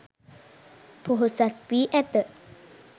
පොහොසත් වී ඇත